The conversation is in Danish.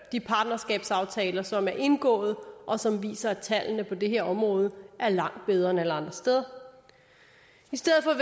de partnerskabsaftaler som er indgået og som viser at tallene på det her område er langt bedre end alle andre steder i stedet for